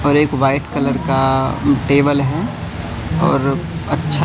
और एक white colour का टेबल हैं और अच्छा--